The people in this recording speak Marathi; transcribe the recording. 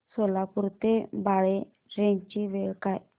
सोलापूर ते बाळे ट्रेन ची वेळ काय आहे